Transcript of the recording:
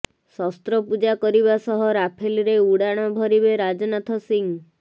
ଶସ୍ତ୍ରପୂଜା କରିବା ସହ ରାଫେଲରେ ଉଡାଣ ଭରିବେ ରାଜନାଥ ସିଂହ